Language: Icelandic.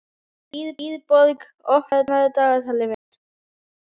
Dýrborg, opnaðu dagatalið mitt.